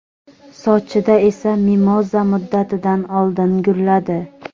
Sochida esa mimoza muddatidan oldin gulladi.